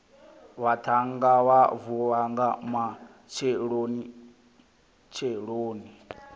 vhaṱhannga vha vuwa nga matshelonitsheloni